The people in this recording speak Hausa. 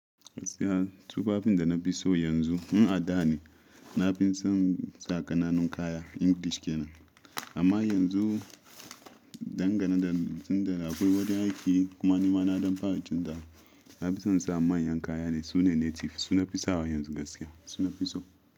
Gaskiya tufafin da na fi so yanzu in a da ne na fi son sa kananan kaya English kenan. Amma yanzu dangane da lokacin da akwai wajen aiki kuma ni ma na dan fara canza wa. Na fi son in sa manyan kaya ne sune native su nafi sawa yanzu gaskiya su nafi so.